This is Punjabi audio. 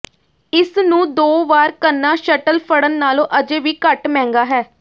ਇਸ ਨੂੰ ਦੋ ਵਾਰ ਕਰਨਾ ਸ਼ੱਟਲ ਫੜਨ ਨਾਲੋਂ ਅਜੇ ਵੀ ਘੱਟ ਮਹਿੰਗਾ ਹੈ